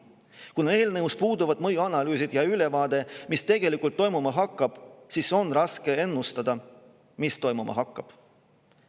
Kuna eelnõul puuduvad mõjuanalüüsid ja ülevaade, mis tegelikult toimuma hakkab, siis on ka raske ennustada seda, mis toimuma hakkab.